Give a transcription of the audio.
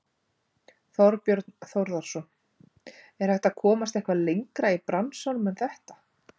Þorbjörn Þórðarson: Er hægt að komast eitthvað lengra í bransanum en þetta?